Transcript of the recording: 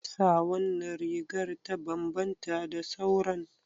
Me yasa wannan rigar ta bambanta da sauran?